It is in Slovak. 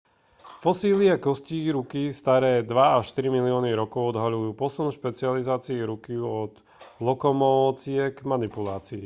fosílie kostí ruky staré dva až tri milióny rokov odhaľujú posun v špecializácii ruky od lokomócie k manipulácii